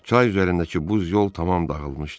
Çay üzərindəki buz yol tamam dağılmışdı.